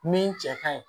Min cɛ kaɲi